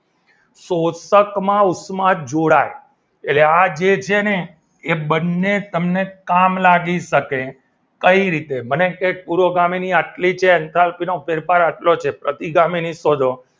પોષક માં ઉર્જા જોડાય એટલે આજે છે ને એ બંને ને તમને કામ લાગી શકે, કઈ રીતે મને કે પૂરો ગામીની આટલી છે એન્થાલ્પીનો ફેરફાર આટલો છે તો પ્રતિગામી ની શોધો